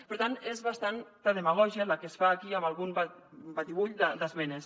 per tant és bastanta demagògia la que es fa aquí amb algun batibull d’esmenes